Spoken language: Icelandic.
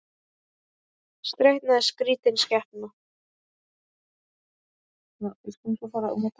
Streita er skrítin skepna.